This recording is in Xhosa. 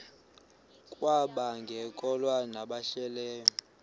kwabangekakholwa nabahlehli leyo